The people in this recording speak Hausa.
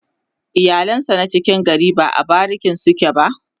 iyalan sa na cikin gari ba a bariki suke ba